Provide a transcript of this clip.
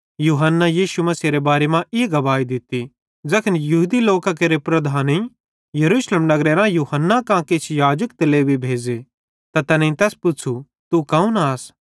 यूहन्ने यीशु मसीहेरे बारे मां ई गवाही दित्ती एक्सां ज़ैखन यहूदी लोकां केरे लीडरेईं यरूशलेम नगरेरां यूहन्ना कां किछ याजक त लेवी भेज़े त तैनेईं तैस पुच्छ़ू तू कौन आस